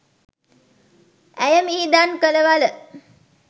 ඇය මිහිදන් කළ වළ